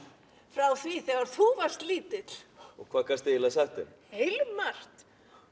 frá því þegar þú varst lítill hvað gastu eiginlega sagt þeim heilmargt